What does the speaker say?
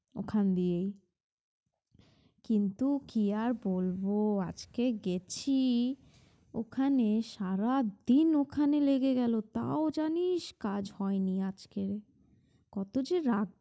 ওখান দিয়েই কিন্তু কি আর বলব আজকে গেছি ওখানে সারাদিন ওখানে লেগে গেলো তাও জানিস কাজ হয়নি আজকের কত যে রাগ